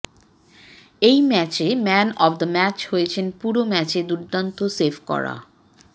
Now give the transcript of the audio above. এই ম্যাচে man of the match হয়েছেন পুরো ম্যাচে দুর্দান্ত সেভ করা